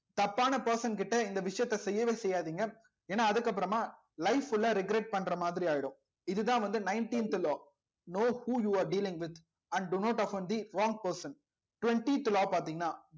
தப்பான person கிட்ட இந்த விஷயத்த செய்யவே செய்யாதீங்க ஏன்னா அதுக்கு அப்புறமா life full ஆ regret பண்ற மாதிரி ஆயிடும் இதுதான் வந்து nineteenth law no who you are dealing with and do not often the wrong person twentieth law பார்த்தீங்கன்னா